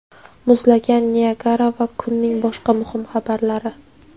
muzlagan Niagara va kunning boshqa muhim xabarlari.